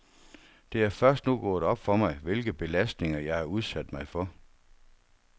Det er først nu gået op for mig, hvilke belastninger, jeg har udsat mig for.